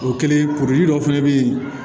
O kɛlen kuruli dɔ fɛnɛ be yen